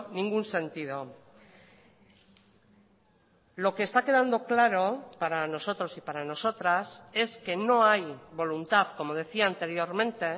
ningún sentido lo que está quedando claro para nosotros y para nosotras es que no hay voluntad como decía anteriormente